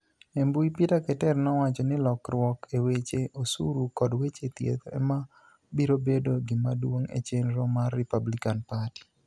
E mbui, Peter Keter nowacho nii lokruok e weche osuru kod weche thieth ema biro bedo gimaduonig' e cheniro mar Republicani Party.